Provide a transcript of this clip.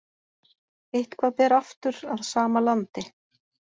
Eitthvað ber aftur að sama landi